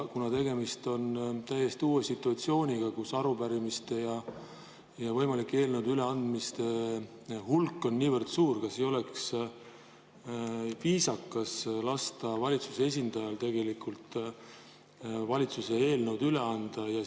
Kuna tegemist on täiesti uue situatsiooniga, kus võimalike üleantavate arupärimiste ja eelnõude hulk on niivõrd suur, siis kas ei oleks viisakas lasta valitsuse esindajal valitsuse eelnõud üle anda?